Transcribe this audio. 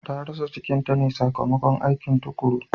Ta rasa cikinta ne sakamakon aikin tukuru.